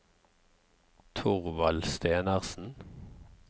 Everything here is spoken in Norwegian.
Thorvald Stenersen